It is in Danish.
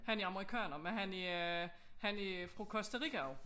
Han er amerikanerne men han er han er fra Costa Rica af